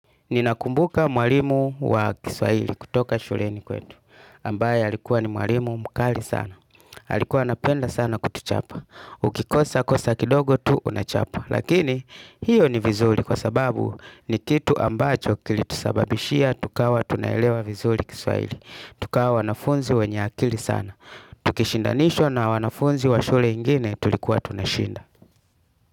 Ninakumbuka mwalimu wa kiswaili kutoka shuleni kwetu. Ambaye alikuwa ni mwalimu mkali sana. Alikuwa napenda sana kutuchapa. Ukikosa kosa kindogo tu unachapwa. Lakini hiyo ni vizuli kwa sababu ni kitu ambacho kilitusababishia tukawa tunaelewa vizuli kiswaili. Tukawa wanafunzi wenye akili sana. Tukishindanishwa na wanafunzi wa shule ingine tulikuwa tunashinda.